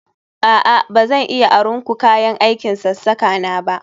A'a ba zan iya aron ku kayan aikin sassaka na ba